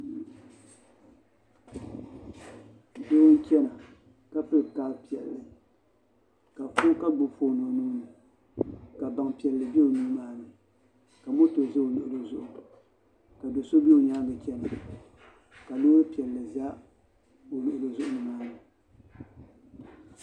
Doo n chɛna ka pili kaap piɛlli ka gbubi foon o nuuni ka baŋ piɛlli bɛ o nuu maa ni ka moto ʒɛ o luɣuli zuɣu ka do so bɛ o nyaangi chɛna ka Loori piɛlli ʒɛ o luɣuli zuɣu nimaani